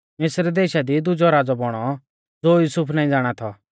मिस्र देशा दी दुजौ राज़ौ बौणौ ज़ो युसुफ नाईं ज़ाणा थौ